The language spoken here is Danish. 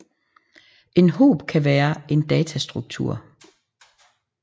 En hob kan være en datastruktur